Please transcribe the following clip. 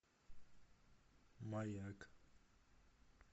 маяк